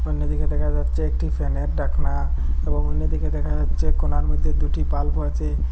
অন্যদিকে দেখা যাচ্ছে একটি ফ্যানের ঢাকনা এবং অন্যদিকে দেখা যাচ্ছে কোণার মধ্যে দুটি বাল্বও আছে।